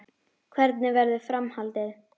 Hvernig verður framhaldið?